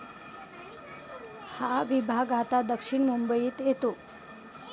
हा विभाग आता दक्षिण मुंबईत येतो.